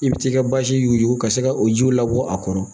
I bɛ t'i ka basi yu ka se ka o ji labɔ a kɔrɔ